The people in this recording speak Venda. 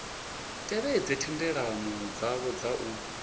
tevhedze thendelano dzavho dza u